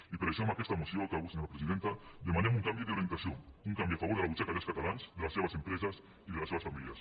i per això amb aquesta moció acabo senyora presidenta demanem un canvi d’orientació un canvi a favor de la butxaca dels catalans de les seves empreses i de les seves famílies